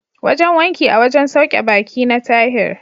Wajen wanki a wajen sauke ɓaki na Tahir.